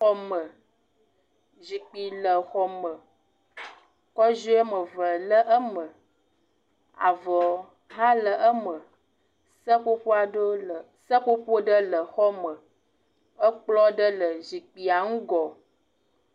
Xɔme, zikpi le xɔme. Kɔziɔ woame ve le eme. Avɔɔ hã le eme. Seƒoƒo aɖewo le. Seƒoƒo ɖe le xɔme. Ekplɔ̃ ɖe le zikpia ŋgɔ.